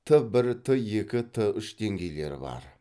т бір т екі т үш деңгейлері бар